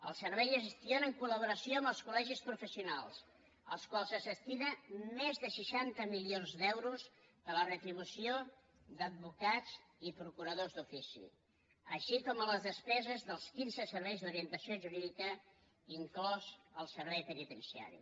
el servei es gestiona en colcol·legis professionals als quals es destinen més de seixanta milions d’euros per a la retribució d’advocats i procuradors d’ofici així com a les despeses dels quinze serveis d’orientació jurídica inclòs el servei penitenciari